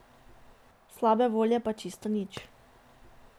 Slabe volje pa čisto nič.